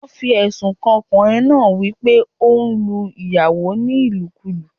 Wọ́n fi èsùn kan ọkùnrin náá wípé óún lu ìyàwó ní ìlùkulú